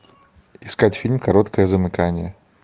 искать фильм короткое замыкание